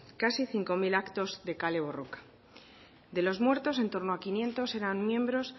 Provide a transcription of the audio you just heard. casi cinco mil actos de kale borroka de los muertos en torno a quinientos eran miembros